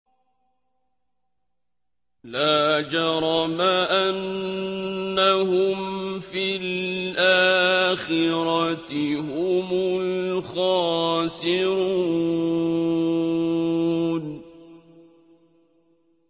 لَا جَرَمَ أَنَّهُمْ فِي الْآخِرَةِ هُمُ الْخَاسِرُونَ